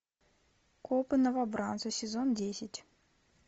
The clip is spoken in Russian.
копы новобранцы сезон десять